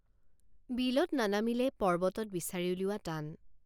বিলত নানামিলে পৰ্বতত বিচাৰি উলিওৱা টান।